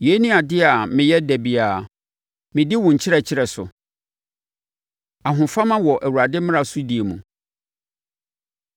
Yei ne adeɛ a meyɛ da biara, medi wo nkyerɛkyerɛ so. Ahofama Wɔ Awurade Mmara So Die Mu